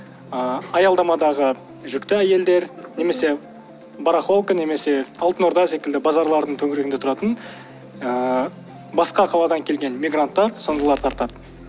ыыы аялдамадағы жүкті әйелдер немесе барахолка немесе алтын орда секілді базарлардың төңірегінде тұратын ыыы басқа қаладан келген мигранттар сондайлар тартады